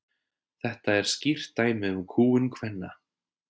Þetta er skýrt dæmi um kúgun kvenna.